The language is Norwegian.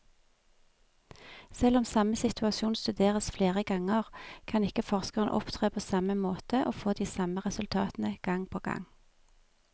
Selv om samme situasjon studeres flere ganger, kan ikke forskeren opptre på samme måte og få de samme resultatene gang på gang.